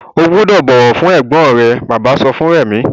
O gbúdọ̀ bọ̀wọ̀ fún ẹ̀gbọ́n rẹ! Bàbá sọ fún Rẹ̀mí.